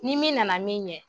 Ni min nana min ɲɛ